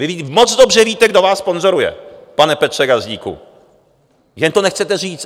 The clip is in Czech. Vy moc dobře víte, kdo vás sponzoruje, pane Petře Gazdíku, jen to nechcete říct.